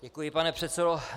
Děkuji, pane předsedo.